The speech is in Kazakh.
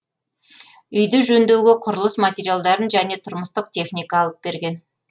үйді жөндеуге құрылыс материалдарын және тұрмыстық техника алып берген